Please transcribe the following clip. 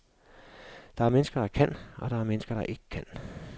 Der er mennesker, der kan, og mennesker der ikke kan.